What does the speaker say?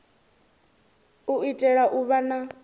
u itela u vha na